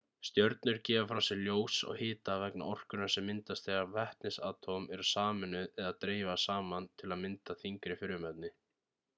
stjörnur gefa frá sér ljós og hita vegna orkunnar sem myndast þegar vetnisatóm eru sameinuð eða dreifast saman til að mynda þyngri frumefni